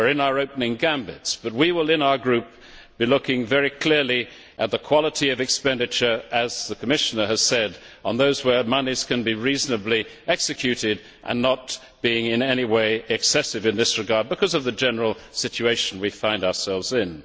We are in our opening gambits, but in our group, we will be looking very clearly at the quality of expenditure as the Commissioner has said, on expenditure where monies can be reasonably executed and not being in any way excessive in this regard because of the general situation we find ourselves in.